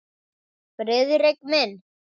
Friðrik minn!